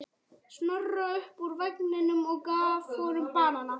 Snorra upp úr vagninum og gaf honum banana.